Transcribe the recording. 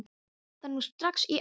Það er nú strax í áttina!